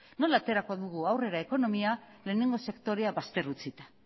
nola aterako dugu aurrera ekonomia lehenengo sektorea bazter utzita